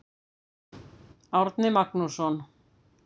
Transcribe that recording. Árni Magnússon.